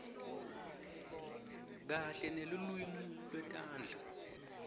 kanye nelulwimi lwetandla